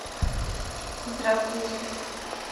здравствуйте